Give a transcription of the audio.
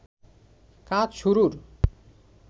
কাজ শুরুর